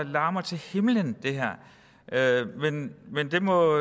larmer til himlen men det må